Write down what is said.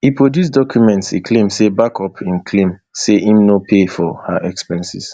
e produce documents e claim say back up im claim say im no pay for her expenses